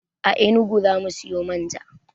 A enugu zamu siyo manja